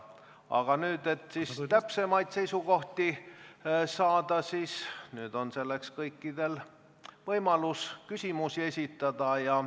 Aga nüüd, et täpsemaid seisukohti saada, siis on kõikidel võimalus küsimusi esitada.